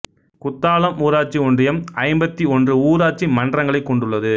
குத்தாலம் ஊராட்சி ஒன்றியம் ஐம்பத்தி ஒன்று ஊராட்சி மன்றங்களை கொண்டுள்ளது